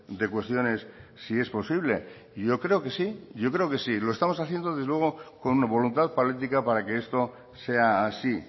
de cuestiones si es posible y yo creo que sí yo creo que sí lo estamos haciendo desde luego con voluntad política para que esto sea así